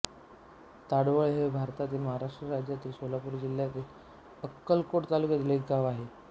ताडवळ हे भारतातील महाराष्ट्र राज्यातील सोलापूर जिल्ह्यातील अक्कलकोट तालुक्यातील एक गाव आहे